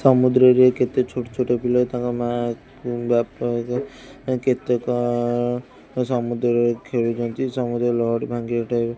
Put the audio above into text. ସମୁଦ୍ର ରେ କେତେ ଛୋଟ ଛୋଟ ପିଲା ତାଙ୍କ ମା ଉଁ ବାପାଙ୍କ ସାଙ୍ଗେ ଅଁ କେତେ କଣ ହଁ ସମୁଦ୍ର ରେ ଖେଳୁଚନ୍ତି ସମୁଦ୍ର ଲହଡ଼ି ଭାଙ୍ଗିବା ଟା ବି --